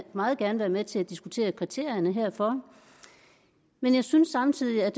meget gerne være med til at diskutere kriterierne herfor men jeg synes samtidig at